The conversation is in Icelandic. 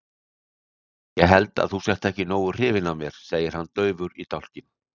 Ég held að þú sért ekki nógu hrifin af mér, segir hann daufur í dálkinn.